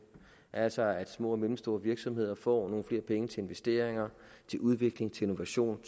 altså at små og mellemstore virksomheder får nogle flere penge til investeringer udvikling innovation